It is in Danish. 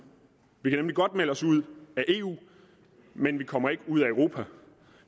vi kan nemlig godt melde os ud af eu men vi kommer ikke ud af europa